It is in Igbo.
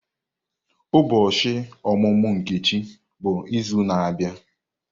Ụbọchị ọmụmụ Nkechi bụ izu na-abịa.